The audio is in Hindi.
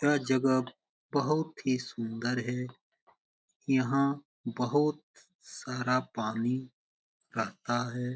यह जगह बहुत ही सुंदर है | यहाँ बहुत सारा पानी रहता है।